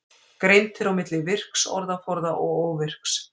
Greint er á milli virks orðaforða og óvirks.